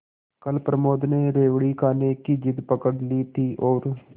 कल प्रमोद ने रेवड़ी खाने की जिद पकड ली थी और